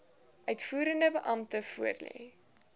uitvoerende beampte voorlê